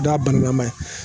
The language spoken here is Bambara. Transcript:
da bananama ye